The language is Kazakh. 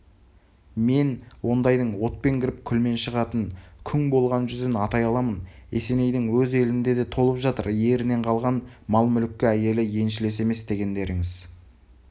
мен ондайдың отпен кіріп күлмен шығатын күң болған жүзін атай аламын есенейдің өз елінде де толып жатыр ерінен қалған мал-мүлікке әйелі еншілес емес дегендеріңіз